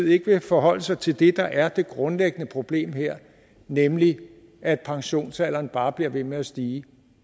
ikke vil forholde sig til det der er det grundlæggende problem her nemlig at pensionsalderen bare bliver ved med at stige